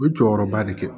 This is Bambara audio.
U ye jɔyɔrɔba de kɛ